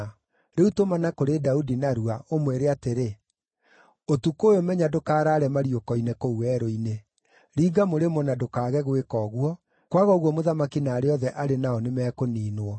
Rĩu tũmana kũrĩ Daudi narua, ũmwĩre atĩrĩ, ‘Ũtukũ ũyũ menya ndũkaraare mariũko-inĩ kũu werũ-inĩ; ringa mũrĩmo na ndũkaage gwĩka ũguo, kwaga ũguo mũthamaki na arĩa othe arĩ nao nĩmekũniinwo.’ ”